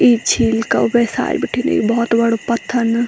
इ झील का ऊबे साल बिटिन एक बहौत बडू पत्थर ना।